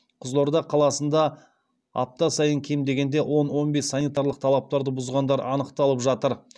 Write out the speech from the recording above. қызылорда қаласында апта сайын кем дегенде он он бес санитарлық талаптарды бұзғандар анықталып жатыр